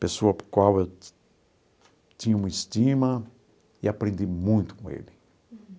Pessoa por qual eu tinha uma estima e aprendi muito com ele.